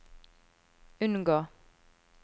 unngå